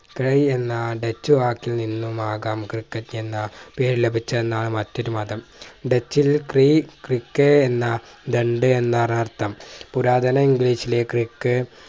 എന്ന ഡച്ച് വാക്കിൽ നിന്നുമാകാം ക്രിക്കറ്റ് എന്ന പേര് ലഭിച്ചതെന്നാണ് മറ്റൊരു മതം ഡച്ചിൽ എന്ന ദണ്ഡ് എന്നാണ് അർഥം പുരാതന english ലെ creek